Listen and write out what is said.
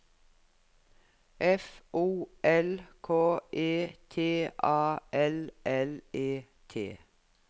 F O L K E T A L L E T